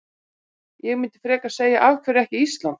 Ég myndi frekar segja af hverju ekki Ísland?